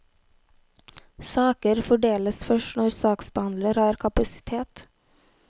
Saker fordeles først når saksbehandler har kapasitet.